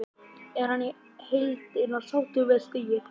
Er hann í heildina sáttur með stigið?